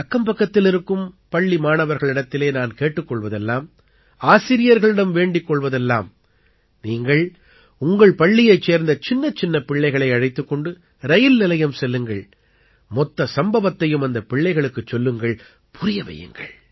அக்கம்பக்கத்தில் இருக்கும் பள்ளி மாணவர்களிடத்திலே நான் கேட்டுக் கொள்வதெல்லாம் ஆசிரியர்களிடம் வேண்டிக் கொள்வதெல்லாம் நீங்கள் உங்கள் பள்ளியைச் சேர்ந்த சின்னச்சின்ன பிள்ளைகளை அழைத்துக் கொண்டு ரயில் நிலையம் செல்லுங்கள் மொத்த சம்பவத்தையும் அந்தப் பிள்ளைகளுக்குச் சொல்லுங்கள் புரிய வையுங்கள்